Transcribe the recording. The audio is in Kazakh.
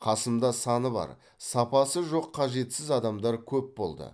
қасымда саны бар сапасы жоқ қажетсіз адамдар көп болды